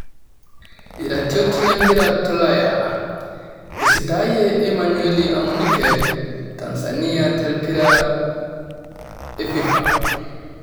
Iratiot lempira tolaya; eisitaayie Emanueli Amunike tanzania te mpira efifa